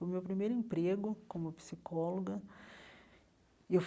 Foi o meu primeiro emprego como psicóloga e eu.